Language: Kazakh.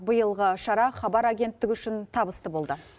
биылғы шара хабар агенттігі үшін табысты болды